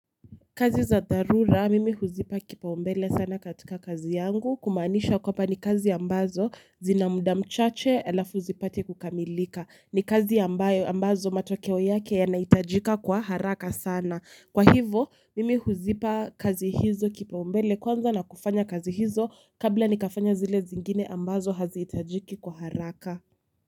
Kazi za dharura mimi huzipa kipaumbele sana katika kazi yangu kumaanisha kwamba ni kazi ambazo zina muda mchache halafu zipate kukamilika. Ni kazi ambazo matokeo yake yanaitajika kwa haraka sana. Kwa hivo mimi huzipa kazi hizo kipaumbele kwanza na kufanya kazi hizo kabla nikafanye zile zingine ambazo hazitajiki kwa haraka.